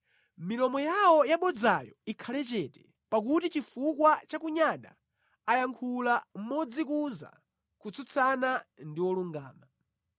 Milomo yawo yabodzayo ikhale chete, pakuti chifukwa cha kunyada ayankhula modzikuza kutsutsana ndi wolungama.